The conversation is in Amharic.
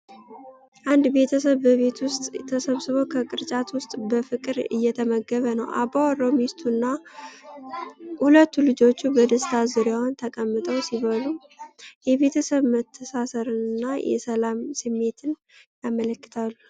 አንድ ቤተሰብ በቤት ውስጥ ተሰብስቦ ከቅርጫት ውስጥ በፍቅር እየተመገበ ነው። አባወራው፣ ሚስቱ እና ሁለቱ ልጆች በደስታ ዙሪያውን ተቀምጠው ሲበሉ፣ የቤተሰብ መተሳሰርን እና የሰላም ስሜትን ያመለክታሉ።